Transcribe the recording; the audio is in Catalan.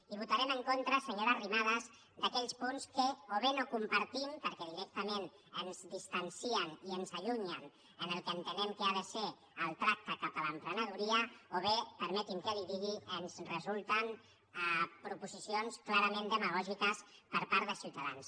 i votarem en contra senyora arrimadas d’aquells punts que o bé no compartim perquè directament ens distancien i ens allunyen del que entenem que ha de ser el tracte cap a l’emprenedoria o bé permeti’m que li ho digui ens resulten proposicions clarament demagògiques per part de ciutadans